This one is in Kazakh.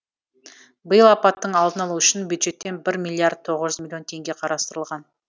биыл апаттың алдын алу үшін бюджеттен бір миллиард тоғыз жүз миллион теңге қарастырылған